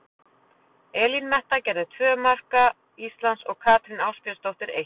Elín Metta gerði tvö marka Íslands og Katrín Ásbjörnsdóttir eitt.